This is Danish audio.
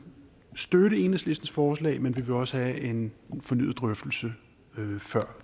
støtte enhedslistens forslag men vi vil også have en fornyet drøftelse før